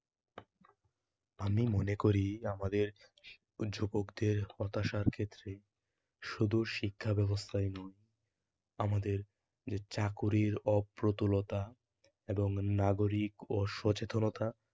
আমি মনে করি আমাদের যুবকদের হতাশার ক্ষেত্রে শুধু শিক্ষাব্যবস্থায় নয়, আমাদের চাকুরির অপ্রতুলতা এবং নাগরিক অসচেতনতা